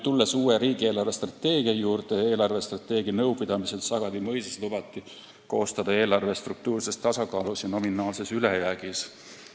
Tulles uue riigi eelarvestrateegia juurde, eelarvestrateegia nõupidamisel Sagadi mõisas lubati koostada eelarve struktuurses tasakaalus ja nominaalses ülejäägis.